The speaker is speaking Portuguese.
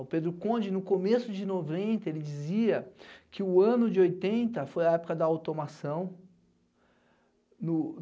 O Pedro Conde, no começo de noventa, ele dizia que o ano de oitenta foi a época da automação. No